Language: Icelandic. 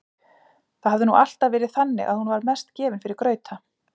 Það hafði nú alltaf verið þannig að hún var mest gefin fyrir grauta.